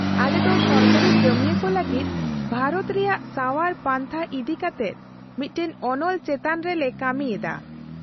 - ᱟᱞᱮ ᱫᱚ ᱥᱚᱨᱠᱟᱨᱤ ᱠᱟᱹᱢᱤᱭᱟᱹ ᱠᱚ ᱞᱟᱹᱜᱤᱫ ᱵᱷᱟᱨᱚᱛ ᱨᱮᱭᱟᱜ ᱥᱟᱣᱟᱨ ᱯᱟᱱᱛᱷᱟ ᱤᱫᱤ ᱠᱟᱛᱮ ᱢᱤᱫᱴᱟᱝ ᱚᱱᱚᱞ ᱪᱮᱛᱟᱱ ᱨᱮᱞᱮ ᱠᱟᱹᱢᱤ ᱮᱫᱟ᱾